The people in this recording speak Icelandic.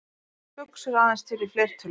Orðið buxur er aðeins til í fleirtölu.